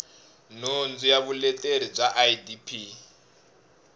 nhundzu ya vuleteri bya idp